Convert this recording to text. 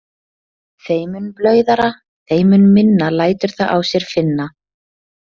Þeim mun blauðara, þeim mun minna lætur það á sér finna.